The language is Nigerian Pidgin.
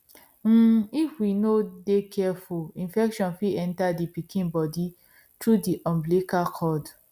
um if we no de careful infection fit enter the pikin body through the umbilical cord